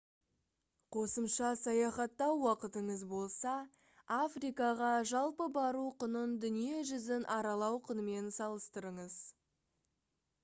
қосымша саяхаттау уақытыңыз болса африкаға жалпы бару құнын дүние жүзін аралау құнымен салыстырыңыз